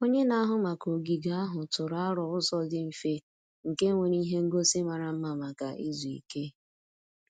Onye na-ahụ maka ogige ahụ tụrụ aro ụzọ dị mfe nke nwere ihe ngosi mara mma maka izu ike.